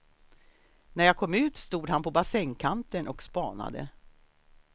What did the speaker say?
När jag kom ut stod han på bassängkanten och spanade.